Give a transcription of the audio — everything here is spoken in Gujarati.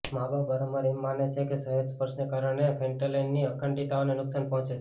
માબાપ વારંવાર એમ માને છે કે સહેજ સ્પર્શને કારણે ફૅન્ટેનલની અખંડિતતાને નુકસાન પહોંચે છે